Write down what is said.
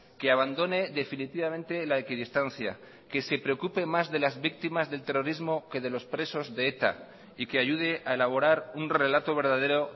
que abandone definitivamente la equidistancia que se preocupe más de las víctimas del terrorismo que de los presos de eta y que ayude a elaborar un relato verdadero